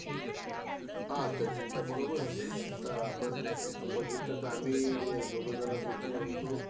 तर realme चा features चांगला आहे का?